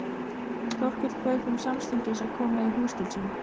Þórkell bauð þeim samstundis að koma í hús til sín.